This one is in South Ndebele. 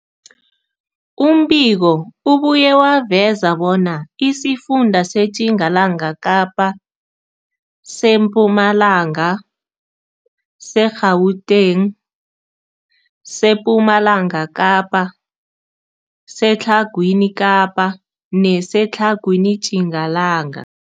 Umbiko ubuye waveza bona isifunda seTjingalanga Kapa, seMpumalanga, seGauteng, sePumalanga Kapa, seTlhagwini Kapa neseTlhagwini Tjingalanga.